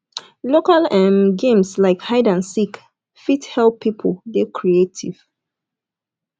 local um games like hide and seek fit help pipo dey creative